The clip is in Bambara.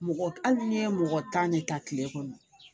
Mɔgɔ hali ni ye mɔgɔ tan de ta kile kɔnɔ